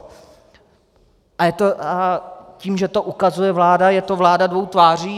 A tím, že to ukazuje vláda, je to vláda dvou tváří?